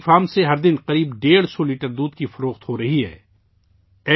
ان کے dairy farm سے روزانہ تقریباً 150 لیٹر دودھ فروخت ہو رہا ہے